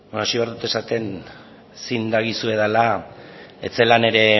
hasi behar dut esaten zin dagizuedala ez zela